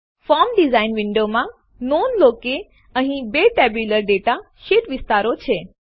form design વિન્ડોમાં નોંધ લો કે અહીં બે ટેબ્યુલર ડેટા શીટ વિસ્તારો છે